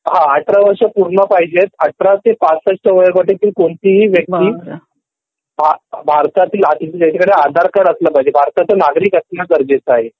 हा १८ वर्ष पूर्ण पाहिजे तेच १८ ते ६५ वयोगटातील कोणती ही व्यक्तीभारतातील ज्याच्याकडे आधार कार्ड असला पाहिजे भारताचा नागरिक असणं गरजेचं आहे